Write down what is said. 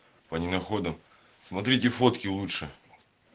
смотрите фотки лучше